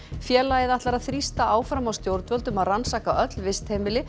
félagið ætlar að þrýsta áfram á stjórnvöld um að rannsaka öll vistheimili